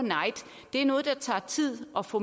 night det er noget der tager tid at få